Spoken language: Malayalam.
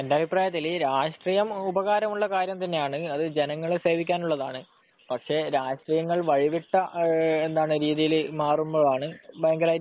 എന്റെ അഭിപ്രായത്തിൽ രാഷ്ട്രീയം ഉപകാരമുള്ള കാര്യം തന്നെയാണ് അത് ജനങ്ങളെ സേവിക്കാനുള്ളതാണ് രാഷ്ട്രീയം വഴി വിട്ട രീതിയിൽ മാറുമ്പോഴാണ്